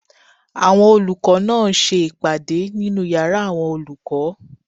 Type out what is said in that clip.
Àwọn olùkọ́ náà ń ṣe ìpàdé nínu yàrá àwọn olùkọ́